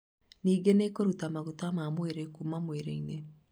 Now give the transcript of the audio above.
Ningĩ ini rĩkarũta maguta ma mwĩrĩ kuma mwĩrĩ-inĩ